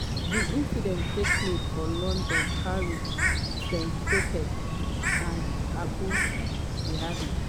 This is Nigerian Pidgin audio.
di incidents take place for london paris st tropez and abu dhabi.